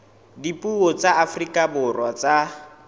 dipuo tsa afrika borwa tsa